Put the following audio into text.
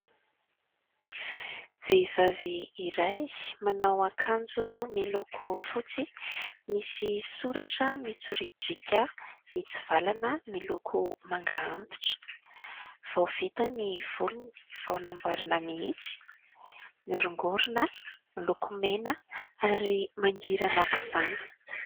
Vehivavy iray manao akanjo miloko fotsy, misy soratra mitsoriadriaka mitsivalana miloko manga antitra. Vao vita ny volony, vao nambaroarina mihitsy, miorongorona, miloko mena ary mangira aok'izany.